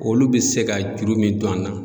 Olu bɛ se ka juru min don an na.